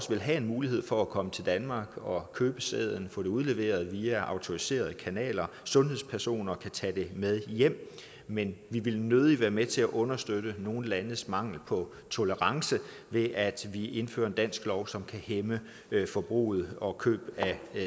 vil have en mulighed for at komme til danmark og købe sæden få den udleveret via autoriserede kanaler sundhedspersoner og tage den med hjem men vi vil nødig være med til at understøtte nogle landes mangel på tolerance ved at vi indfører en dansk lov som kan hæmme forbruget og køb af